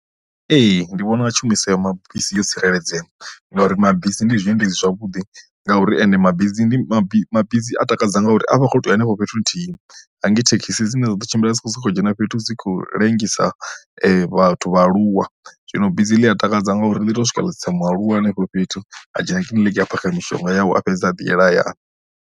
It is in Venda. Ee ndi vhona tshumiso ya mabisi yo tsireledzea ngauri mabisi ndi zwiendedzi zwavhuḓi ngauri ende mabizi ndi mabisi mabizi a takadza ngauri a vha a khoto uya henefho fhethu nthihi hangi thekhisi dzine dzaḓo tshimbila dzi tshi khou soko dzhena fhethu dzi khou ḽengisa vhathu vhaaluwa zwino bisi ḽi a takadza ngauri ḽi to swika ḽa tsitsa mualuwa henefho fhethu a dzhena kiḽiniki a phakha mishonga yawe a fhedza a ḓi yela hayani.